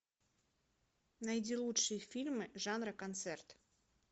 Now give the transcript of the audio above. найди лучшие фильмы жанра концерт